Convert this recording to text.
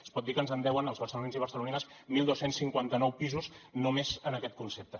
es pot dir que ens en deuen als barcelonins i barcelonines dotze cinquanta nou pisos només en aquest concepte